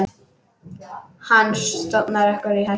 Hann stofnar okkur í hættu.